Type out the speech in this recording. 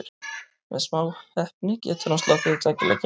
Með smá heppni getur hann sloppið við tveggja leikja bann.